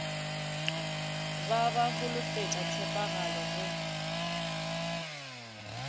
ba ba holofetša tshepagalo go